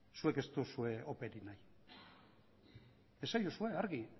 zuek ez duzue operik nahi esaiozue argi